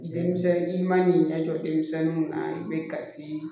Denmisɛnnin man'i ɲɛjɔ denmisɛnninw na i bɛ kasi